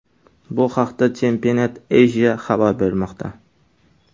Bu haqda Championat.Asia xabar bermoqda .